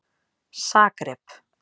Zagreb